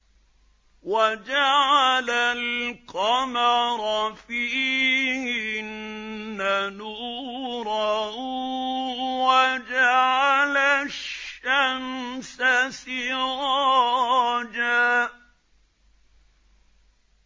وَجَعَلَ الْقَمَرَ فِيهِنَّ نُورًا وَجَعَلَ الشَّمْسَ سِرَاجًا